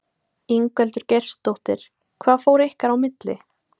Ingveldur Geirsdóttir: Hvað fór ykkar á milli?